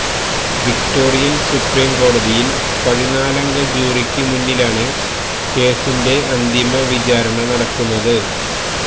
Victorian supreme കോടതിയിൽ പതിനാലംഗ ജൂറിക്ക് മുന്നിലാണ് കേസിന്റെ അന്തിമ വിചാരണ നടക്കുന്നത്